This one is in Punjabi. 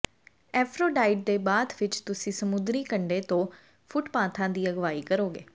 ਏਫ਼ਰੋਡਾਈਟ ਦੇ ਬਾਥ ਵਿਚ ਤੁਸੀਂ ਸਮੁੰਦਰੀ ਕੰਢੇ ਤੋਂ ਫੁੱਟਪਾਥਾਂ ਦੀ ਅਗਵਾਈ ਕਰੋਗੇ